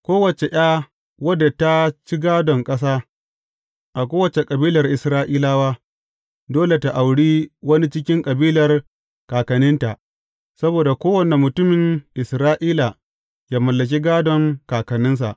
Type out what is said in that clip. Kowace ’ya wadda ta ci gādon ƙasa, a kowace kabilar Isra’ilawa, dole tă auri wani cikin kabilar kakanninta, saboda kowane mutumin Isra’ila yă mallaki gādon kakanninsa.